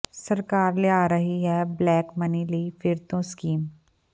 ਸਰਕਾਰ ਲਿਆ ਰਹੀ ਹੈ ਬਲੈਕਮਨੀ ਲਈ ਫਿਰ ਤੋਂ ਸਕੀਮ